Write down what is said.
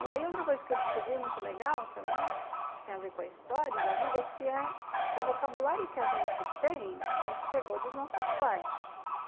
E aí outra coisa que eu descobri, muito legal também, tem a ver com a história da vida, é que é o vocabulário que a gente tem, a gente pegou dos nossos pais.